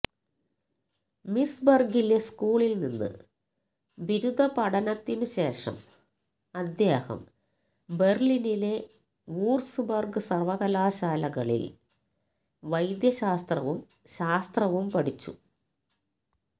മീസ്ബർഗിലെ സ്കൂളിൽ നിന്ന് ബിരുദപഠനത്തിനു ശേഷം അദ്ദേഹം ബെർലിനിലെ വൂർസ്ബർഗ് സർവ്വകലാശാലകളിൽ വൈദ്യശാസ്ത്രവും ശാസ്ത്രവും പഠിച്ചു